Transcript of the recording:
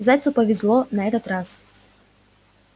зайцу повезло на этот раз